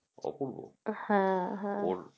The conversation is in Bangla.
হ্যাঁ হ্যাঁ